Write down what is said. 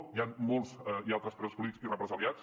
n’hi han molts hi ha altres presos polítics i represaliats